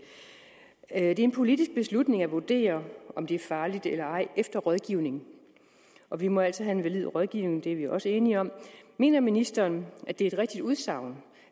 er en politisk beslutning at vurdere om det er farligt eller ej efter rådgivning og vi må altid have en valid rådgivning det er vi også enige om mener ministeren at det er et rigtigt udsagn